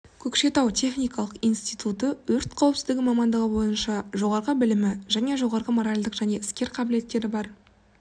көкшетау техникалық институты өрт қауіпсіздігі мамандығы бойынша жоғарғы білімі және жоғарғы моралдік және іскер қабілеттері бар